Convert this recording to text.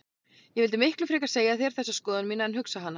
Ég vildi miklu frekar segja þér þessa skoðun mína en hugsa hana.